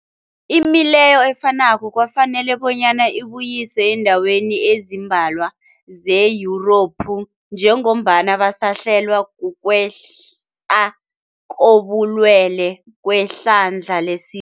Imileyo efanako kwafanela bonyana ibuyiswe eendaweni ezimbalwa ze-Yurophu njengombana basahlelwa, kukwehla kobulwele kwehlandla lesi